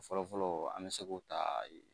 Fɔlɔfɔlɔ an bɛ se k'o ta